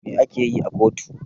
Me a keyi a kotu?